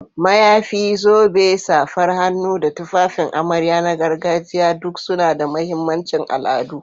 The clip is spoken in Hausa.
Mayafi, zobe, safar hannu, da tufafin amarya na gargajiya duk suna da mahimmancin al'adu.